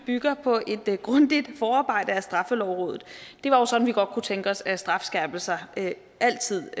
bygger på et grundigt forarbejde af straffelovrådet det var jo sådan vi godt kunne tænke os at strafskærpelser altid